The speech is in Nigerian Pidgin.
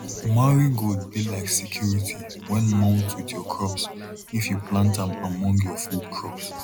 marigold be like security when mount with your crops if you plant am among your food crops